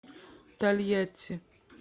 тольятти